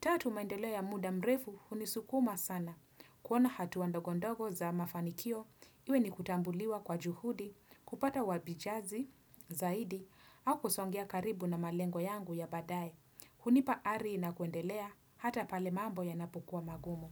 Tatu maendeleo ya muda mrefu hunisukuma sana. Kuona hatua ndogondogo za mafanikio, iwe ni kutambuliwa kwa juhudi, kupata wabijazi, zaidi, au kusongea karibu na malengo yangu ya badaye. Hunipa ari na kuendelea hata pale mambo ya napukua magumu.